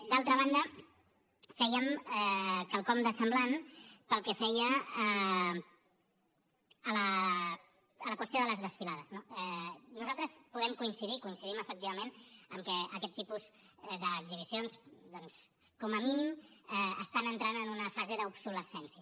d’altra banda fèiem quelcom de semblant pel que feia a la qüestió de les desfilades no nosaltres podem coincidir hi coincidim efectivament que aquest tipus d’exhibicions doncs com a mínim estan entrant en una fase d’obsolescència